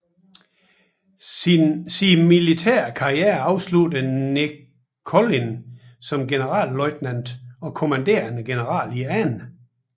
Sin militære karriere afsluttede Nickolin som generalløjtnant og kommanderende general i 2